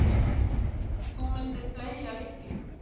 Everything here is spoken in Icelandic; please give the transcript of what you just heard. Þú myndir fleygja lyklinum.